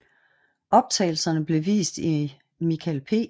Optagelserne blev vist i Michael P